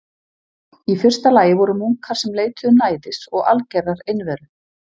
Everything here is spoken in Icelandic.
Í fyrsta lagi voru munkar sem leituðu næðis og algerrar einveru.